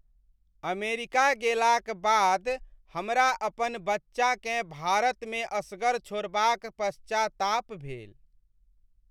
America गेलाक बाद हमरा अपन बच्चाकेँ भारतमे असगर छोड़बाक पश्चाताप भेल।